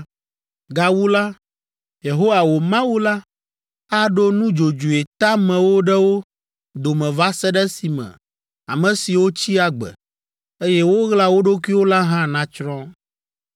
Gawu la, Yehowa wò Mawu la aɖo nudzodzoe teamewo ɖe wo dome va se ɖe esime ame siwo tsi agbe, eye woɣla wo ɖokuiwo la hã nàtsrɔ̃.